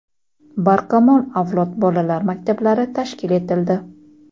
"Barkamol avlod" bolalar maktablari tashkil etildi.